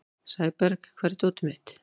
Sæborg, hvar er dótið mitt?